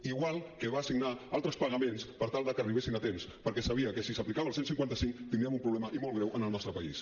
igual que va signar altres pagaments per tal de que arribessin a temps perquè sabia que sí s’aplicava el cent i cinquanta cinc tindríem un problema i molt greu en el nostre país